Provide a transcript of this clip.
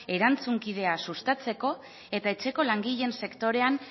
erantzunkidea sustatzeko eta etxeko langileen sektorean